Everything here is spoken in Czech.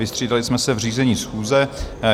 Vystřídali jsme se v řízení schůze.